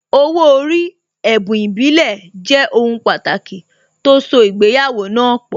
Owó orí, ẹ̀bùn ìbílẹ̀, jẹ́ ohun pàtàkì tó so ìgbéyàwó náà pọ̀